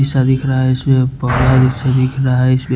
पैसा दिख रहा हैं इसमें दिख रहा हैं इसमें--